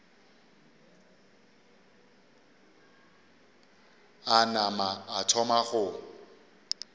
a nama a thoma go